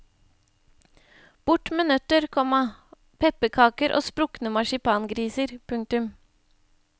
Bort med nøtter, komma pepperkaker og sprukne marsipangriser. punktum